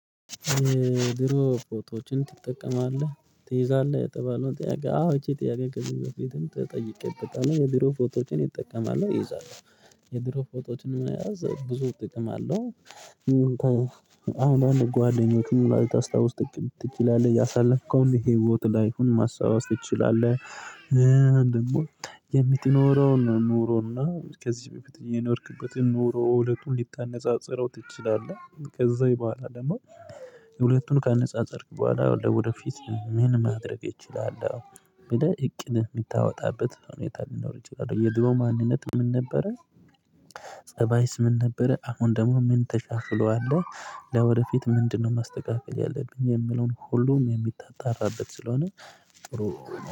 የድሮ ፎቶዎችን ትጠቀማለህ ትይዛለህ የተባለውን ጥያቄ አዎ ይቺ ጥያቄ ከዚህ በፊትም ተጠይቄበታል የድሮ ፎቶዎችን ይጠቀማሉ ይይዛለው የድሮ ፎቶዎችን መያዝ ብዙ ጥቅም አለው። አንዳንድ ጓደኞች ሙሉ ልታስታውስ ትችላለህ ያሳለፍከውን ህይወት ላይ እኮ ማስታወስ ትችላለህ ደግሞ የምትኖረውን ኑሮና ከዚህ በፊት የኖርክበትን ኖሮ ሁለቱን ሊታነጻጽረው ትችላለህ ከዚ ቡሃላ ደሞ ሁለቱን ከነጻጸርክ በኋላ ወደፊት ምን ማድረግ ይችላል ብለህ እቅድ የምታወጣበት ሁኔታ ሊኖር ይችላል የድሮ ማንነት ምን ነበረ ፀባይስ ምን ነበረ አሁን ደግሞ ምን ታሻሽሎዋልህ ለወደፊት ምንድነው ማስተካከል ያለብኝ የምለውን ሁሉም የምታጣራበት ስለሆነ